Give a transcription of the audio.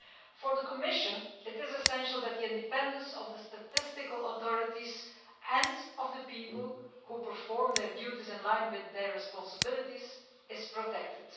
For the Commission, it is essential that the independence of the statistical authorities, and of the people who perform their duties in line with their responsibilities, is protected.